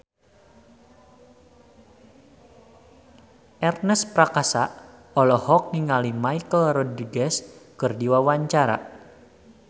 Ernest Prakasa olohok ningali Michelle Rodriguez keur diwawancara